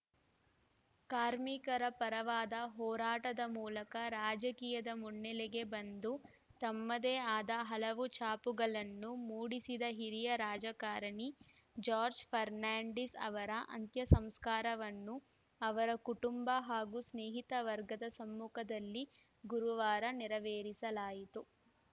ಕಾರ್ಮಿಕರ ಪರವಾದ ಹೋರಾಟದ ಮೂಲಕ ರಾಜಕೀಯದ ಮುನ್ನೆಲೆಗೆ ಬಂದು ತಮ್ಮದೇ ಆದ ಹಲವು ಛಾಪುಗಳನ್ನು ಮೂಡಿಸಿದ ಹಿರಿಯ ರಾಜಕಾರಣಿ ಜಾರ್ಜ್ ಫರ್ನಾಂಡಿಸ್‌ ಅವರ ಅಂತ್ಯಸಂಸ್ಕಾರವನ್ನು ಅವರ ಕುಟುಂಬ ಹಾಗೂ ಸ್ನೇಹಿತ ವರ್ಗದ ಸಮ್ಮುಖದಲ್ಲಿ ಗುರುವಾರ ನೆರವೇರಿಸಲಾಯಿತು